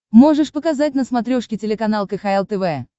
можешь показать на смотрешке телеканал кхл тв